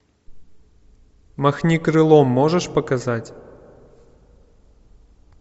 махни крылом можешь показать